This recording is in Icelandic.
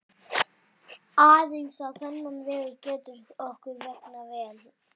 Aðeins á þennan vegu getur okkur vegnað vel.